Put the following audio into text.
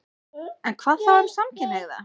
En hvað þá um samkynhneigða?